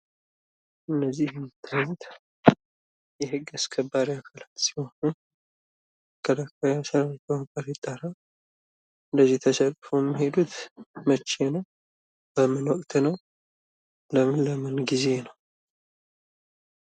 የዜጎችን ደህንነትና ንብረት ለመጠበቅ ሌት ተቀን የሚሰሩ ታማኝ የህዝብ አገልጋዮች። ወንጀልን ለመከላከልና ወንጀለኞችን ለፍርድ ለማቅረብ ቆራጥ እርምጃ የሚወስዱ።